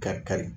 Ka kari